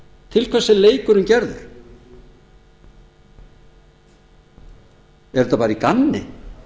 til hvers er leikurinn gerður er þetta bara í gamni